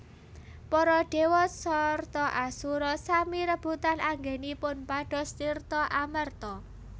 Para Dewa sarta Asura sami rebutan anggenipun pados tirta amerta